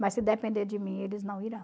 Mas se depender de mim, eles não irão.